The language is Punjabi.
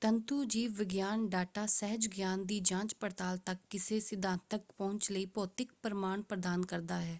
ਤੰਤੂ ਜੀਵ-ਵਿਗਿਆਨ ਡਾਟਾ ਸਹਿਜ ਗਿਆਨ ਦੀ ਜਾਂਚ-ਪੜਤਾਲ ਤੱਕ ਕਿਸੇ ਸਿਧਾਂਤਕ ਪਹੁੰਚ ਲਈ ਭੌਤਿਕ ਪ੍ਰਮਾਣ ਪ੍ਰਦਾਨ ਕਰਦਾ ਹੈ।